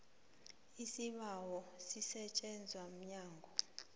isibawo sisetjenzwa mnyango